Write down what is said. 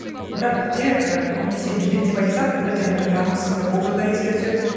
бірақ бізде і көбінесе билік деп айтсақ бірден бір жағымсыз бір образ да еске түседі